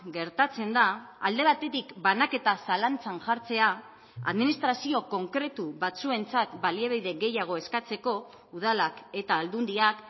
gertatzen da alde batetik banaketa zalantzan jartzea administrazio konkretu batzuentzat baliabide gehiago eskatzeko udalak eta aldundiak